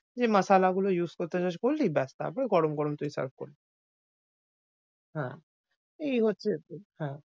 যে মাসালা গুলো use করতে চাস করিস এই ব্যাস তারপরগরম গরম তুই serve করবি। হ্যাঁ, এই হচ্ছে হ্যাঁ,